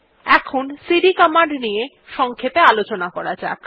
এখন CD command নিয়ে সংক্ষেপে আলোচনা করা যাক